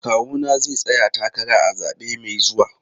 Kawuna zai tsaya takara a zabe mai zuwa.